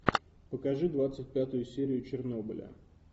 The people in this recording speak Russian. покажи двадцать пятую серию чернобыля